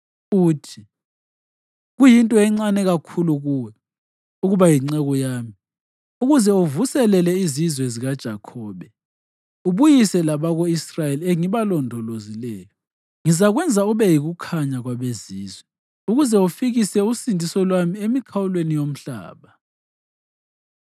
uthi: “Kuyinto encane kakhulu kuwe ukuba yinceku yami ukuze uvuselele izizwe zikaJakhobe ubuyise labako-Israyeli engibalondolozileyo. Ngizakwenza ube yikukhanya kwabeZizwe, ukuze ufikise usindiso lwami emikhawulweni yomhlaba.”